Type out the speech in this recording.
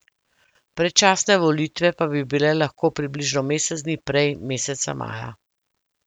Predčasne volitve pa bi bile lahko približno mesec dni prej, meseca maja.